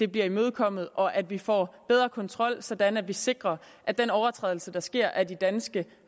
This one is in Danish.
bliver imødekommet og at vi får bedre kontrol sådan at vi sikrer at den overtrædelse der sker af de danske